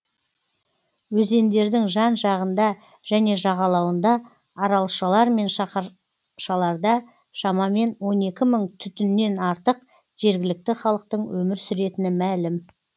өзендердің жан жағында және жағалауында аралшалар мен шаһаршаларда шамамен он екі мың түтіннен артық жергілікті халықтың өмір сүретіні мәлім